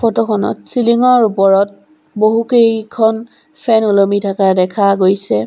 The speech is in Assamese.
ফটো খনত চিলিংৰ ওপৰত বহুকেইখন ফেন ওলমি থাকা দেখা গৈছে।